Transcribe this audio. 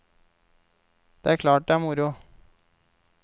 Det er klart det er moro.